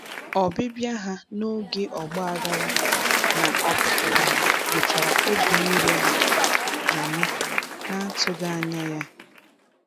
Ọbịbịa ha n'oge ọgbaghara na opupu wetara obi iru ala anyị na-atụghị anya ya.